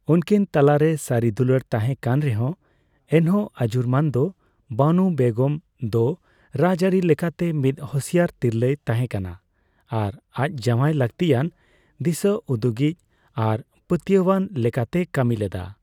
ᱩᱱᱠᱤᱱ ᱛᱟᱞᱟᱨᱮ ᱥᱟᱨᱤ ᱫᱩᱞᱟᱹᱲ ᱛᱟᱸᱦᱮ ᱠᱟᱱ ᱨᱮᱦᱚᱸ, ᱮᱱᱦᱚᱸ ᱟᱡᱩᱨᱢᱟᱱᱫᱚ ᱵᱟᱱᱩ ᱵᱮᱜᱚᱢ ᱫᱚ ᱨᱟᱡᱟᱹᱨᱤ ᱞᱮᱠᱟᱛᱮ ᱢᱤᱫ ᱦᱩᱥᱤᱭᱟᱹᱨ ᱛᱤᱨᱞᱟᱹᱭ ᱛᱟᱸᱦᱮ ᱠᱟᱱᱟ ᱟᱨ ᱟᱡ ᱡᱟᱣᱟᱭ ᱞᱟᱠᱛᱤᱭᱟᱱ ᱫᱤᱥᱟᱹᱩᱫᱩᱜᱤᱡ ᱟᱨ ᱯᱟᱹᱛᱭᱟᱹᱭᱟᱱ ᱞᱮᱠᱟᱛᱮᱭ ᱠᱟᱢᱤ ᱞᱮᱫᱟ ᱾